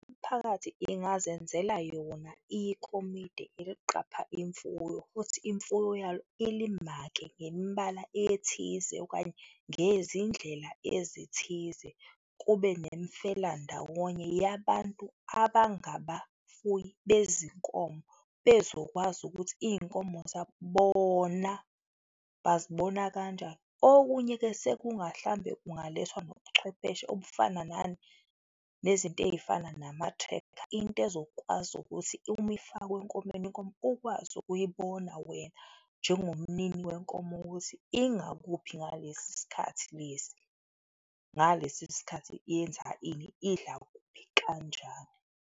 Imiphakathi ingazenzela yona ikomidi eliqapha imfuyo futhi imfuyo yalo ili-mark-e ngemibala ethize okanye ngezindlela ezithize, kube nemifelandawonye yabantu abangabafuyi bezinkomo bezokwazi ukuthi izinkomo zabo bona bazibona kanjani. Okunye-ke, sekunga, mhlawumbe kungalethwa nobuchwepheshe obufana nani? Nezinto ezifana nama-tracker, into ezokwazi ukuthi uma ifakwe enkomeni, inkomo ukwazi ukuyibona wena njengomnini wenkomo ukuthi ingakuphi ngalesi sikhathi lesi, ngalesi sikhathi iyenza ini, idla kuphi, kanjani?